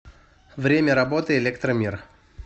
время работы электромир